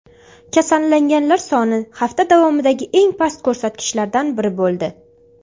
Kasallanganlar soni hafta davomidagi eng past ko‘rsatkichlardan biri bo‘ldi.